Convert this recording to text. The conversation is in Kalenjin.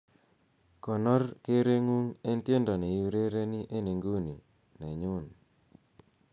konor kereng'ung en tiendo neiurereni en inguni nenyun